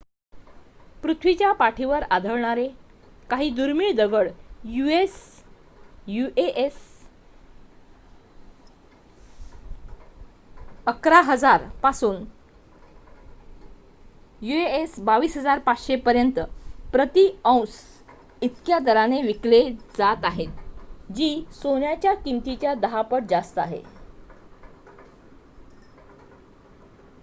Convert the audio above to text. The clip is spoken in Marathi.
पृथ्वीच्या पाठीवर आढळणारे काही दुर्मिळ दगड यूएस $११,००० पासून $२२,५०० पर्यंच प्रति औंस इतक्या दराने विकले जात आहेत जी सोन्याच्या किमतीच्या १० पट जास्त आहे